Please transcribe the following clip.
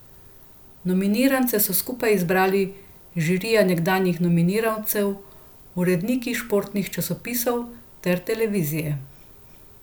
Nominirance so skupaj izbrali žirija nekdanjih nominirancev, uredniki športnih časopisov ter televizije.